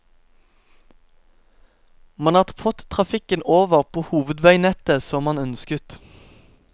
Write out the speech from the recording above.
Man har fått trafikken over på hovedveinettet som man ønsket.